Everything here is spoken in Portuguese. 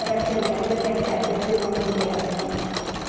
Ela esteve ali até, até ser uma mulher, né?